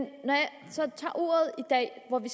så tager ordet i dag hvor vi